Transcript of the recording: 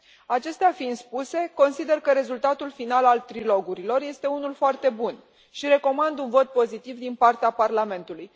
Acestea fiind spuse, consider că rezultatul final al trilogurilor este unul foarte bun și recomand un vot pozitiv din partea Parlamentului.